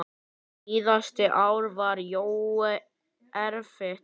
Síðasta ár var Jóa erfitt.